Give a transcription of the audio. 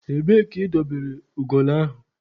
Ebee ka ị dobere ugolo ahụ?